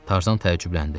Tarzan təəccübləndi.